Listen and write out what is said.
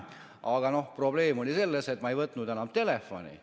Aga probleem oli selles, et ma ei võtnud enam telefoni.